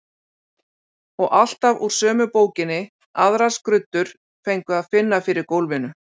Og alltaf úr sömu bókinni, aðrar skruddur fengu að finna fyrir gólfinu.